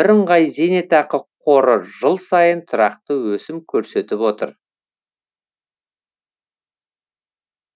бірыңғай зейнетақы қоры жыл сайын тұрақты өсім көрсетіп отыр